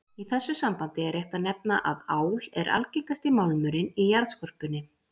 Í þessu sambandi er rétt að nefna að ál er algengasti málmurinn í jarðskorpunni.